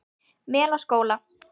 Melaskóla